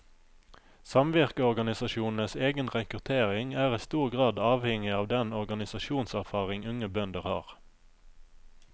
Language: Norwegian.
Samvirkeorganisasjonenes egen rekruttering er i stor grad avhengig av den organisasjonserfaring unge bønder har.